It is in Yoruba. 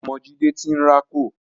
Ọmọ Jídé ti ń rákò